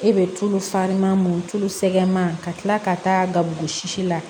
E be tulu faran mun tulu sɛɛman ka tila ka taa gabugu si la